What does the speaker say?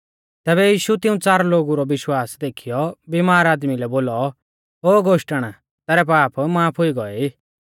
तैबै यीशु तिऊं च़ार लोगु रौ विश्वास देखीयौ बिमार आदमी लै बोलौ ओ गोष्टण तैरै पाप माफ हुई गोऐ ई